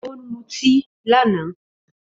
Ó lutí lánàá